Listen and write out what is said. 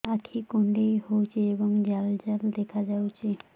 ଆଖି କୁଣ୍ଡେଇ ହେଉଛି ଏବଂ ଜାଲ ଜାଲ ଦେଖାଯାଉଛି